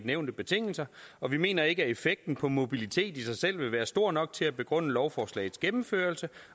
nævnte betingelser og vi mener ikke at effekten på mobiliteten i sig selv vil være stor nok til at begrunde lovforslagets gennemførelse